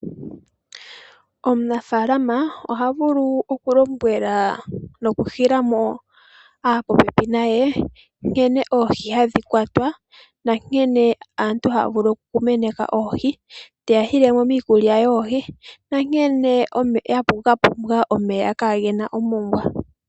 Omunafaalama oha vulu okulombwela noku hila mo aapopepi naye nkene oohi hadhi kwatwa nankene aantu haya vulu okumuna oohi, kombinga yiikulya yoohi nankene dha pumbwa omeya kaage na omongwa.